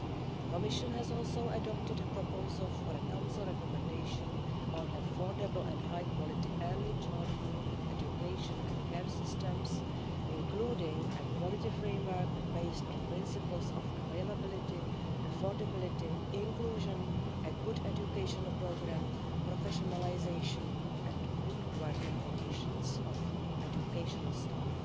The Commission has also adopted a proposal for a Council recommendation on affordable and high quality early childhood education and care systems, including a quality framework based on principles of availability, affordability, inclusion, a good educational programme, professionalisation and good working conditions for educational staff,